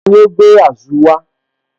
Tani ó gbé Azu wá?